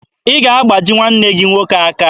Ị ga-agbaji nwanne gị nwoke aka.